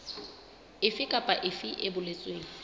efe kapa efe e boletsweng